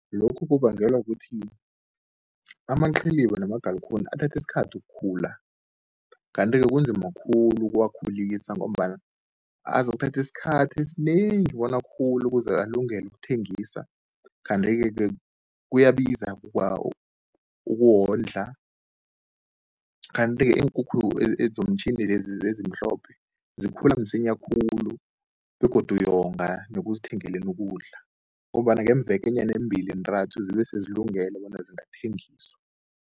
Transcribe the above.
Lokhu kubangelwa kukuthi amaqhiliba namagalikuni, athatha isikhathi ukukhula. Kanti-ke kunzima khulu ukuwakhulisa, ngombana azokuthatha isikhathi esinengi bona akhule, ukuze alungele ukuthengiswa. Kantike-ke kuyabiza ukuwondla. Kanti-ke iinkukhu zomtjhini lezi ezimhlophe zikhula msinya khulu begodu uyonga nekuzithengeleni ukudla, ngombana ngeemvekenyana ezimbili zintathu zibe sezilungele bona zingathengiswa.